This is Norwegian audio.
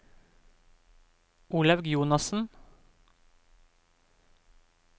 Olaug Jonassen